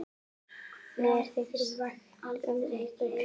Mér þykir vænt um ykkur.